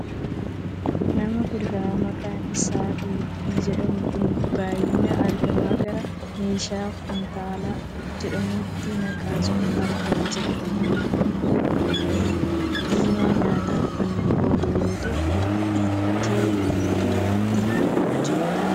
Nama kuduraa maqaan isaa qullubbii jedhamu kan baayyinaan argama gara meeshaa kumtaala jedhamutti naqaa jiru argaa jirra. Qullubbiin kun qullubnii diimaa nyaataaf kan oolu yoo ta'u ittootu ittiin kan hojjatamudha.